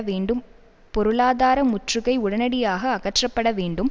வேண்டும் பொருளாதார முற்றுகை உடனடியாக அகற்றப்பட வேண்டும்